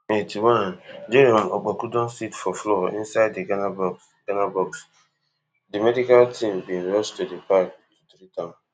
eighty-onejerome opoku don sit for floor inside di ghana box ghana box di medical team bin rush to di park to treat am